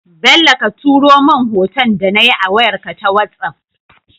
Bello ka turo mun hoton da nayi a wayar ka ta whatsapp